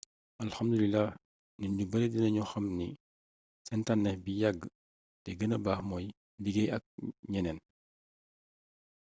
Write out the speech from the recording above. alhamdulilah nit ñu bare dina ñu xam ni seen tànneef bi yàgg te gënna baax mooy liggéey ak ñeneen